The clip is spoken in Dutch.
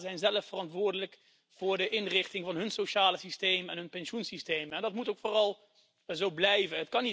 De lidstaten zijn zelf verantwoordelijk voor de inrichting van hun sociale systeem en hun pensioensysteem en dat moet vooral ook zo blijven.